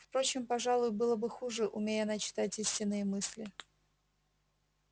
впрочем пожалуй было бы хуже умей она читать истинные мысли